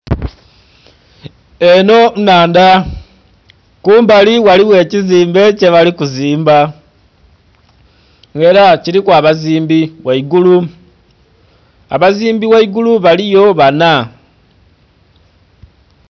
Eno nnhandha kumbali ghaligho ekizimbe kyebali kuzimba nga era kiriku abazimbi ghaigulu, abazimbi ghaigulu baliyo bana.